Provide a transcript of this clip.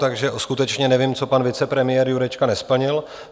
Takže skutečně nevím, co pan vicepremiér Jurečka nesplnil.